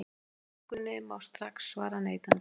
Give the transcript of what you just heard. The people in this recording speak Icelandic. Spurningunni má strax svara neitandi.